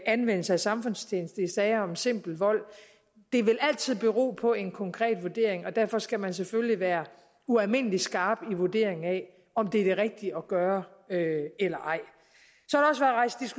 anvendelse af samfundstjeneste i sager om simpel vold det vil altid bero på en konkret vurdering og derfor skal man selvfølgelig være ualmindelig skarp i vurderingen af om det er det rigtige at gøre eller ej